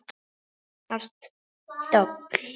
Hart dobl.